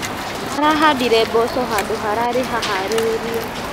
Arahandire mboco handũ hararĩ haharĩrie.